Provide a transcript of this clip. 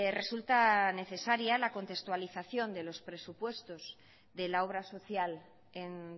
resulta necesaria la contextualización de los presupuestos de la obra social en